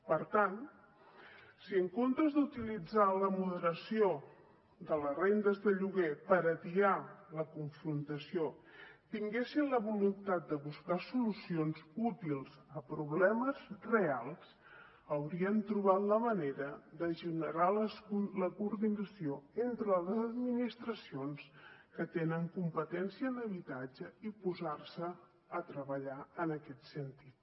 per tant si en comptes d’utilitzar la moderació de les rendes de lloguer per atiar la confrontació tinguessin la voluntat de buscar solucions útils a problemes reals haurien trobat la manera de generar la coordinació entre les administracions que tenen competència en habitatge i posar se a treballar en aquest sentit